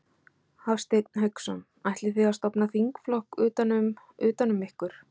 Hafsteinn Hauksson: Ætlið þið að stofna þingflokk utan um, utan um ykkur?